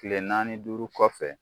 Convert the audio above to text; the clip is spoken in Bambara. Kile naani duuru kɔfɛ